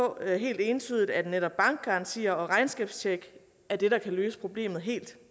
der helt entydigt at netop bankgarantier og regnskabstjek er det der kan løse problemet helt